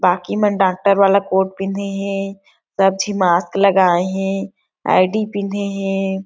बाकी मन डॉक्टर वाला कोट पिंधे हे सब झे मास्क लागए हे आई दी पिंधे हे।